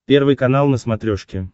первый канал на смотрешке